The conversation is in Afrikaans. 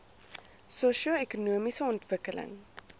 sosio ekonomiese ontwikkeling